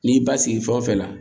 N'i ba sigi fɛn o fɛn la